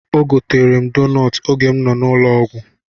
O goteerem doonọtụ oge m nọ n'ụlọ ọgwụ.